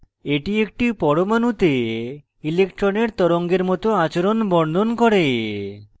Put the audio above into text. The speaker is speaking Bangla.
এটি একটি পরমাণুতে electron তরঙ্গের it আচরণ বর্ণন করে